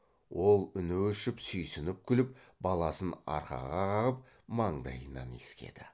ол үні өшіп сүйсініп күліп баласын арқаға қағып маңдайынан иіскеді